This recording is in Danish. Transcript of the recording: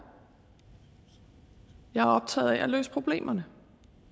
jeg er optaget af at løse problemerne